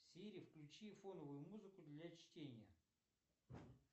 сири включи фоновую музыку для чтения